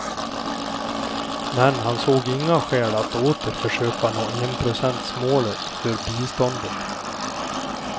Men han såg inga skäl att åter försöka nå enprocentsmålet för biståndet.